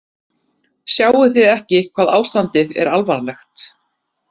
Sjáið þið ekki hvað ástandið er alvarlegt.